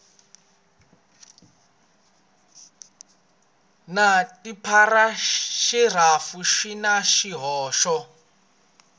na tipharagirafu swi na swihoxo